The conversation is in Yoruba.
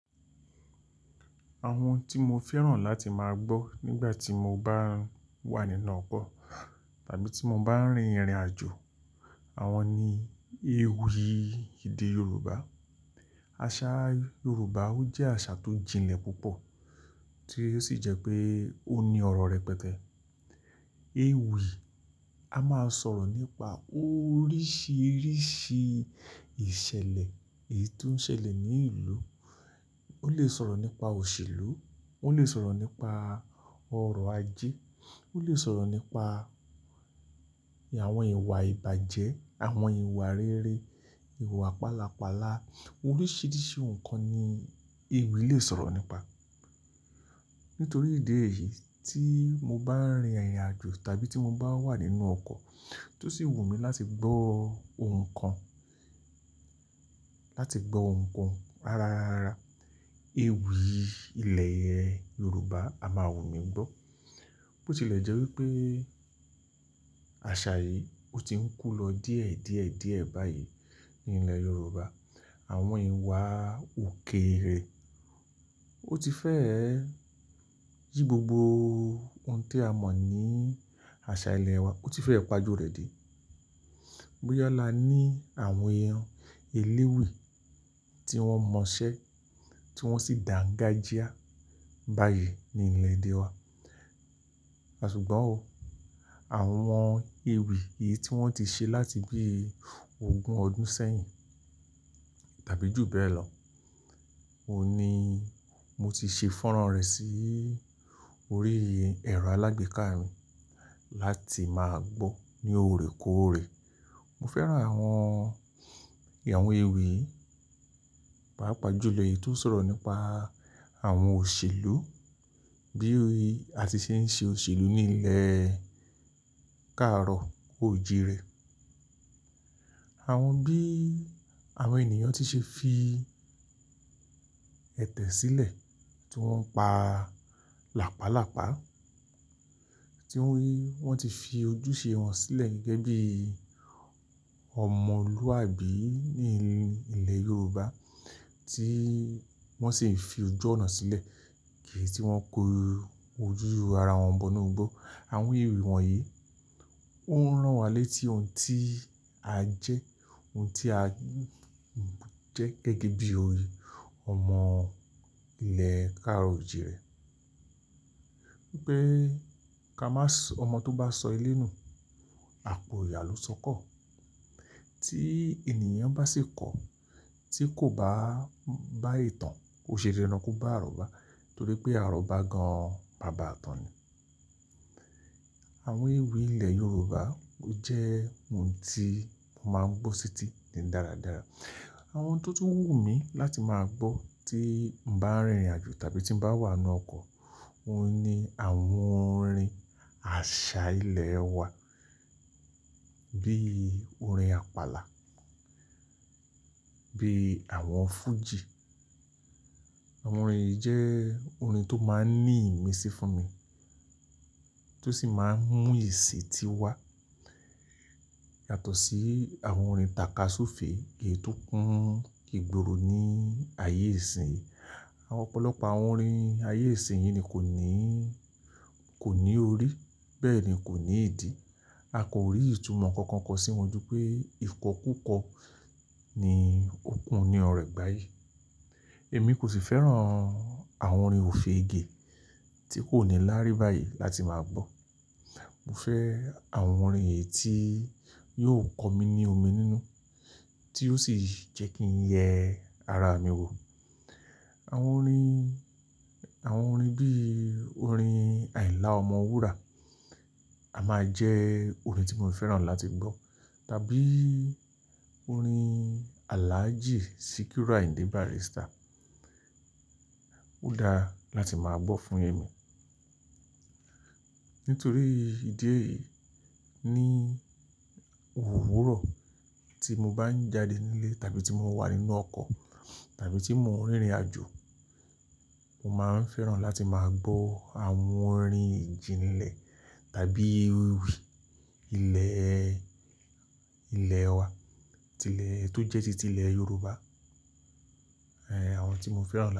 Àwọn tí mo fẹ́ràn láti máa gbọ́ nígbà tí mo bá wà nínú ọkọ̀ tàbí tí mo bá ń rìnrìn àjò, àwọn ni ewì ìdí Yorùbá. Àṣà Yorùbá jẹ́ àṣà tó jinlẹ̀ púpọ̀ tí ó sì jẹ́ pé ó ní ọ̀rọ̀ rẹ̀ pẹtẹ. Ewì a máa sọ̀rọ̀ nípa oríṣiríṣi ìṣẹ̀lẹ̀ èyí tó ń ṣẹlẹ̀ ní ìlú. Ó lè sọ̀rọ̀ nípa òṣèlú, ó lè sọ̀rọ̀ nípa ọ̀rọ̀ ajé, ó lè sọ̀rọ̀ nípa àwọn ìwà ìbàjẹ́, àwọn ìwà rere, ìwà pálapàla. Oríṣiríṣi nǹkan ni ewì lè sọ̀rọ̀ nípa. Nítorí ìdí èyí tí mo bá ń rìnrìn àjò tàbí tí mo bá wà nínú ọkọ̀ tó sì wù mí láti gbọ́ ohun kan, láti gbọ́ ohun kan rárá, ewì ilẹ̀ Yorùbá a máa wù mí gbọ́. Bó tilẹ̀ jẹ́ wí pé àṣà yìí ó ti ń kú lọ díẹ̀díẹ̀ díẹ̀ báyìí ní ilẹ̀ Yorùbá. Àwọn ìwà òkèèrè ó ti fẹ́ yí gbogbo ohun tí a mọ̀ ní àṣà ilẹ̀ wa, ó ti fẹ́ pa ojú rẹ̀ dé. Bí ó lá ni àwọn èèyàn eléwì tí wọ́n mọṣẹ́, tí wọ́n sì dàǹgájíá báyìí ní ilẹ̀ èdè wa. Àṣùgbọ́n oh, àwọn ewì èyí tí wọ́n ti ṣe láti bí ogún ọdún sẹ́yìn tàbí jù bẹ́ẹ̀ lọ, òní mo ti ṣe fọ́nọ̀ rẹ̀ sí orí ẹ̀rọ alágbèéká mi láti máa gbọ́ ní òrèkóòrè. Mo fẹ́ràn àwọn, àwọn ewì pàápàá jú lọ èyí tó ń sọ̀rọ̀ nípa àwọn òṣèlú bíi àti ṣe ń ṣe òṣèlú ní ilẹ̀ káàrọ̀ oò jire. Àwọn bí àwọn ènìyàn tí ṣe fi ẹ̀tẹ̀ sílẹ̀ tí wọ́n ń pa làpálàpá, tí wọ́n rí wọ́n ti fi ojúṣe wọn sílẹ̀ gẹ́gẹ́ bí ọmọlúwàbí ní ilẹ̀ Yorùbá tí wọ́n sì ń fi ojú ọ̀nà sílẹ̀ kì í tí wọ́n kó ojúu ara wọn bọ́nu gbó. Àwọn ewì wọ̀nyí ó ń rán wa létí ohun tí a jẹ́, ohun tí a jẹ́ gẹ́gẹ́ bí orí ọmọ ilẹ̀ káàrọ̀ oò jire. Pé ká má sọ ọmọ tó bá sọ ilé nù, àpò ìyà ló sọkọ. Tí ènìyàn bá sì kọ, tí kò bá bá ètàn, ó ṣe dándán bá àrọ́ba. Torí pé àrọ́ba gan bàbá tàn ni. Àwọn ewì ilẹ̀ Yorùbá jẹ́ ohun tí mo máa ń gbọ́ síi títí daradara. Àwọn tó tún wù mí láti máa gbọ́ tí ń bá ń rìnrìn àjò tàbí tí ń bá wà nínú ọkọ̀, òun ni àwọn orin àṣà ilẹ̀ wa bíi orin àpàlà, bíi àwọn fújì. Àwọn orin yìí jẹ́ orin tó máa ń ní ìmísí fún mi, tó sì máa ń mú ìsì tí wá. Yàtọ̀ sí àwọn orin tàka súùfe èyí tó kúń ígboro ní ayé ìsín. Ọ̀pọ̀lọpọ̀ àwọn orin ayé ìsín yìí ni kò ní, kò ní orí, bẹ́ẹ̀ ni kò ní ìdí. A kò rí ìtumọ̀ kankan kọ sí wọn ju pé ìkọ́ kúkọ ni ó kú ní ọ̀rẹ́ gbáyìí. Èmi kò sì fẹ́ràn àwọn orin òfege tí kò ní láárí báyìí láti máa gbọ́. Mo fẹ́ àwọn orin èyí tí yóò kọ mi ní omi nínú, tí ó sì jẹ́ kí ń yẹ ara mi wò. Àwọn orin, àwọn orin bí i orin Àìlá Ọmọ wúrà, a máa jẹ́ orin tí mo fẹ́ràn láti gbọ́. Tàbí orin Àlájì Secure Ìdíbarístà, ó dáa láti máa gbọ́ fún èmi. Nítorí ìdí èyí ní òwúrọ̀ tí mo bá ń jáde nílé tàbí tí mo wà nínú ọkọ̀ tàbí tí mo ń rìnrìn àjò, mo máa ń fẹ́ràn láti máa gbọ́ àwọn orin jìnlẹ̀ tàbí ewì ilẹ̀, ilẹ̀ wa. Tí ilẹ̀ tó jẹ́ títí ilẹ̀ Yorùbá, àwọn tí mo fẹ́ràn.